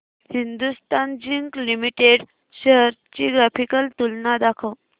Hindustan zinc limited shares ची graphical तुलना दाखव